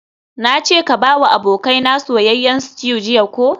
Nace ka bawa abokaina soyayyen stew jiya ko?